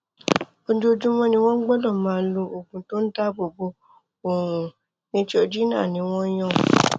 ojoojúmọ ni wọn gbọdọ máa lo oògùn tó ń dáàbò bo oòrùn neutrogena ni wọn yàn